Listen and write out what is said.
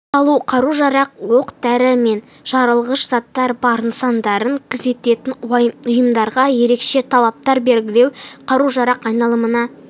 салу қару-жарақ оқ-дәрі мен жарылғыш заттары бар нысандарын күзететін ұйымдарға ерекше талаптар белгілеу қару-жарақ айналымына